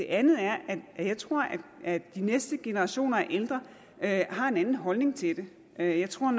andet er at jeg tror at de næste generationer af ældre har en anden holdning til det jeg tror